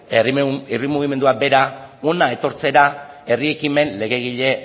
herri mugimendua bera hona etortzera herri ekimen legegile